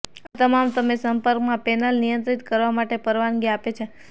આ તમામ તમે સંપર્કમાં પેનલ નિયંત્રિત કરવા માટે પરવાનગી આપે છે